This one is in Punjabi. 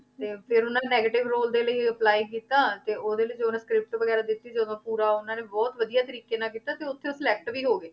ਤੇ ਫਿਰ ਉਹਨਾਂ ਨੇ negative ਰੋਲ ਦੇ ਲਈ apply ਕੀਤਾ ਤੇ ਉਹਦੇ ਲਈ ਤੇ ਉਹਨੂੰ script ਵਗ਼ੈਰਾ ਦਿੱਤੀ ਜਦੋਂ ਪੂਰਾ ਉਹਨਾਂ ਨੇ ਬਹੁਤ ਵਧੀਆ ਤਰੀਕੇ ਨਾਲ ਕੀਤਾ ਤੇ ਉੱਥੇ ਉਹ select ਹੋ ਗਏ,